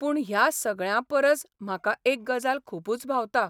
पूण ह्या सगळ्यां परस म्हाका एक गजाल खुबूच भावता.